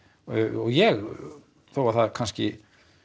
og ég þó að það kannski